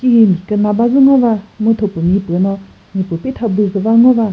hi müküna badzü ngo va mu thüpumipü no mipü pitha büküva ngo va.